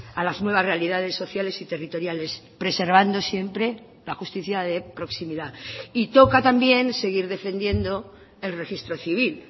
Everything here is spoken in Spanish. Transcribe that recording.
a las nuevas realidades sociales y territoriales preservando siempre la justicia de proximidad y toca también seguir defendiendo el registro civil